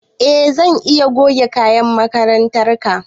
E zan iya goge kayan makarantar ka